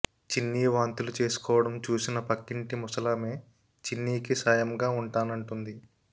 చిన్నీ వాంతులు చేసుకోవడం చూసిన పక్కింటి ముసలామె చిన్నీకి సాయంగా ఉంటానంటుంది